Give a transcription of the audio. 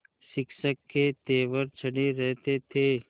शिक्षक के तेवर चढ़े रहते थे